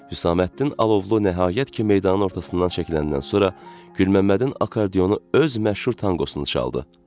Hüsamməddin Alovlu nəhayət ki, meydanın ortasından çəkiləndən sonra Gülməmmədin akordeonu öz məşhur tangosunu çaldı.